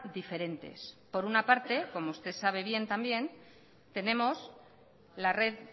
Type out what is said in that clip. diferentes por una parte como usted sabe bien también tenemos la red